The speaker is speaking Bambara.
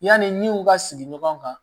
Yanni n'i y'u ka sigi ɲɔgɔn kan